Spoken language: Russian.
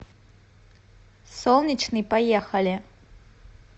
солнечный поехали